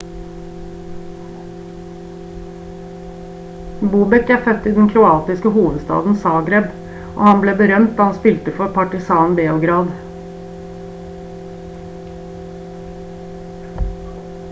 bobek er født i den kroatiske hovedstaden zagreb og han ble berømt da han spilte for partizan beograd